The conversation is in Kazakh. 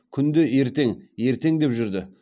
күнде ертең ертең деп жүрді